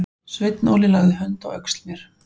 Sveinn Óli lagði hönd á öxl mér.